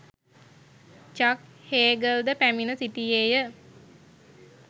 චක් Hagel ද පැමිණ සිටියේය.